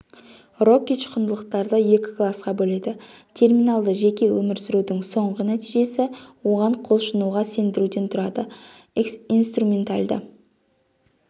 рокич құндылықтарды екі классқа бөледі -терминалды жеке өмір сүрудің соңғы нәтижесі оған құлшынуға сендіруден тұрады -инструменталды